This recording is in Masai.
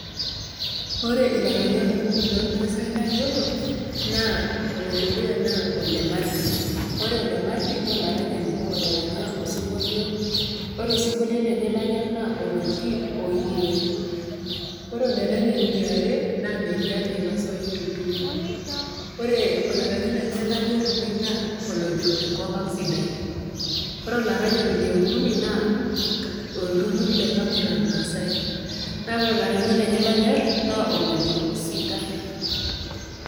Kore ilaranyak okuni loolmaasai layiolo, naa ole dukuya naa Ole Marti. Ore Ole Marti naa olaranyani otaranya osinkolio, ore osinkolio lenye lanyor naa oloji "oyee". Ore olaranyani le are naa Meryane Naipasoi Tutuma, ore olaranyi lenye lanyor oleng' naa olojo, "enkop aang' sidai". Kore olaranyani le okuni naa olturur le Kamurar maasai, naa ore olaranyi lenye loonyor naa olojo "sitai".